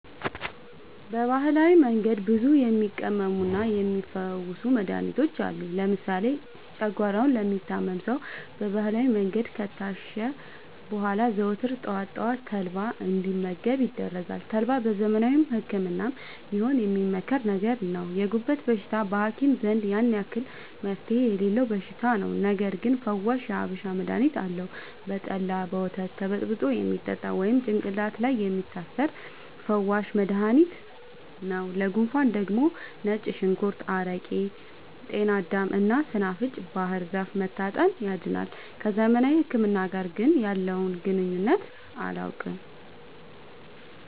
በባህላዊ መንገድ ብዙ የሚቀመሙና የሚ ፈውሱ መድሀኒቶች አሉ። ለምሳሌ ጨጓሯውን ለሚታመም ሰው በባህላዊ መንገድ ከታሸ በኋላ ዘወትር ጠዋት ጠዋት ተልባ እንዲ መገብ ይደረጋል ተልባ በዘመናዊ ህክምናም ቢሆን የሚመከር ነገር ነው። የጉበት በሽታ በሀኪም ዘንድ ያን አክል መፍትሄ የሌለው በሽታ ነው። ነገርግን ፈዋሽ የሀበሻ መድሀኒት አለው። በጠላ፣ በወተት ተበጥብጦ የሚጠጣ ወይም ጭቅላት ላይ የሚታሰር ፈዋሽ መደሀኒት ነው። ለጉንፉን ደግሞ ነጭ ሽንኩርት አረቄ ጤናዳም እና ሰናፍጭ ባህርዛፍ መታጠን ያድናል።። ከዘመናዊ ህክምና ጋር ግን ያለውን ግንኙነት አላውቅም።